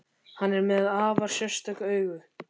Hann er með afar sérstök augu.